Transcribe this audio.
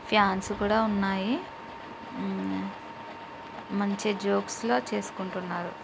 Fans కూడా ఉన్నాయి. ఉమ్ మంచి జోక్స్ లో చేసుకుంటున్నారు.